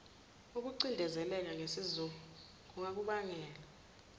ukucindezeleka nesizungu kungakubangela